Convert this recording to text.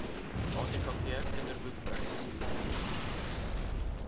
atkv kinderboek prys